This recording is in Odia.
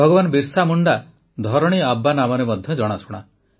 ଭଗବାନ ବିର୍ସା ମୁଣ୍ଡା ଧରଣୀ ଆବା ନାମରେ ମଧ୍ୟ ଜଣାଶୁଣା